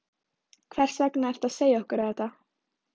Hvers vegna ertu að segja okkur þetta?